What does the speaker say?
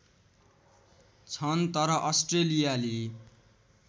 छन् तर अस्ट्रेलियाली